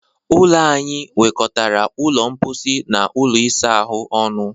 Ụlọ anyị nwekọtara ụlọ mposi na ụlọ isa ahụ ọnụ.